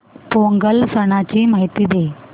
पोंगल सणाची माहिती दे